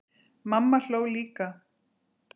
Mamma hló líka.